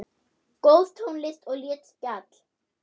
Góð tónlist og létt spjall.